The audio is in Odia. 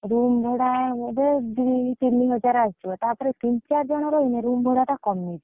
Room ଭଡା ବୋଧେ ଦି ତିନି ହଜାର ଆସିବ ତାପରେ ତିନ ଚାର ଜଣ ରହିଲେ room ଭଡା ଟା କମିଯିବ।